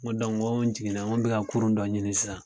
Nko dɔnke nko jiginna nko n be ka kurun dɔ ɲini sisan